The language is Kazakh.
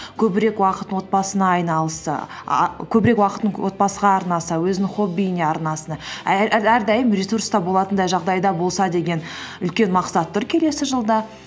көбірек уақытын отбасына көбірек уақытын отбасыға арнаса өзінің хоббиіне арнаса әрдайым ресурста болатындай жағдайда болса деген үлкен мақсат тұр келесі жылда